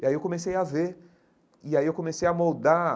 E aí eu comecei a ver, e aí eu comecei a moldar